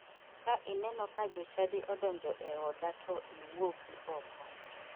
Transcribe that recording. Ka ineno ka jochadi odonjo e oda to iwuogi oko.